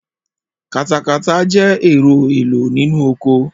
Katakata jẹ́ ẹ̀rọ èlò nínú oko